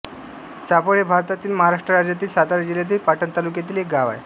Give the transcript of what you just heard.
चाफळ हे भारतातील महाराष्ट्र राज्यातील सातारा जिल्ह्यातील पाटण तालुक्यातील एक गाव आहे